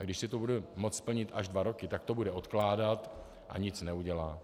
A když si to bude moct splnit až dva roky, tak to bude odkládat a nic neudělá.